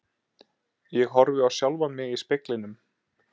Ég horfi á sjálfan mig í speglinum.